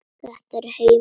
Þetta var heimur óttans.